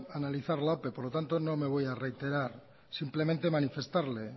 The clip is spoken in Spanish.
analizar la ope por lo tanto no me voy a reiterar simplemente manifestarle